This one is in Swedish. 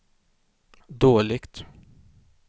dåligt